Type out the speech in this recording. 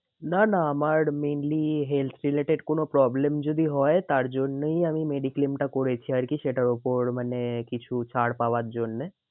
না না আমার meanly health related কোনো problem যদি হয় তার জন্যই আমি mediclaim টা করেছি আর কি সেটার ওপর মানে কিছু ছাড় পাওয়ার জন্যে।